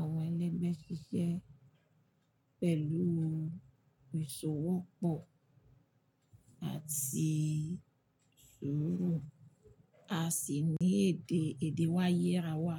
àwọn ẹlẹgbẹ́ ṣiṣẹ́ pẹ̀lú ìṣòwò pọ̀ àti sùúrù, a sì ní èdè, èdè wáyé ra wa.